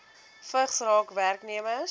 vigs raak werknemers